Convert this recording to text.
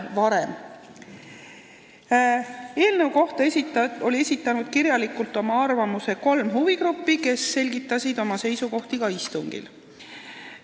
Oma kirjaliku arvamuse eelnõu kohta oli esitanud kolm huvigruppi, kes selgitasid oma seisukohti ka istungil.